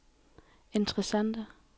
interessante